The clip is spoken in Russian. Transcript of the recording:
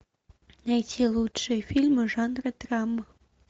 найти лучшие фильмы жанра драма